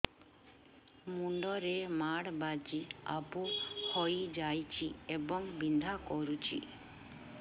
ମୁଣ୍ଡ ରେ ମାଡ ବାଜି ଆବୁ ହଇଯାଇଛି ଏବଂ ବିନ୍ଧା କରୁଛି